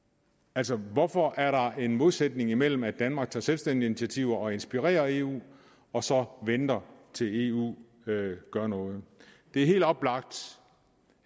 altså hvorfor er der en modsætning imellem at danmark tager selvstændige initiativer og inspirerer eu og så venter til eu gør noget det er helt oplagt